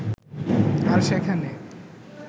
আর সেখানে